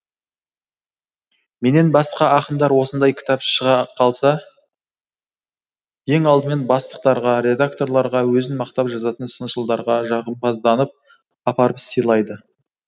менен басқа ақындар осындай кітабы шыға қалса ең алдымен бастықтарға редакторларға өзін мақтап жазатын сыншылдарға жағымпазданып апарып сыйлайды